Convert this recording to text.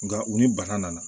Nka u ni bana nana